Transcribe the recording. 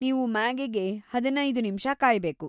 ನೀವು ಮ್ಯಾಗಿಗೆ ಹದಿನೈದು ನಿಮ್ಷ ಕಾಯ್ಬೇಕು.